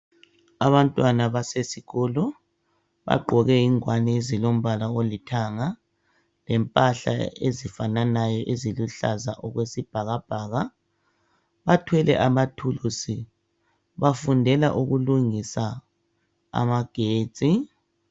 Abantwana basesikolo bagqoke ingwane ezilombala olithanga lempahla ezifananayo ezilombala oluhlaza okwesibhakabhaka .Bathwele amathulusi bafundela ukulungisa amagetsi .